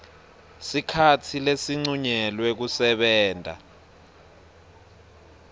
sikhatsi lesincunyelwe kusebenta